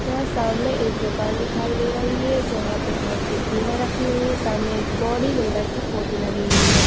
यहाँ सामने एक दुकान दिखाई दे रही है जहाँ पे बहुत सारी कीमें रखी हुई हैं सामने एक बॉडीबिल्डर की लगी हुई है।